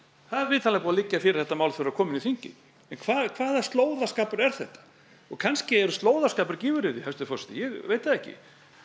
það er vitanlega búið að liggja fyrir að þetta mál þurfi að koma fyrir þingið en hvaða hvaða slóðaskapur er þetta og kannski er slóðaskapur gífuryrði hæstvirtur forseti ég veit það ekki